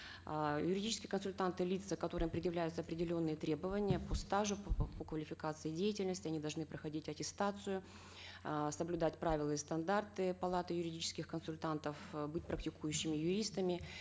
э юридические консультанты лица которым предъявляются определенные требования по стажу по квалификации деятельности они должны проходить аттестацию э соблюдать правила и стандарты палаты юридических консультантов э быть практикующими юристами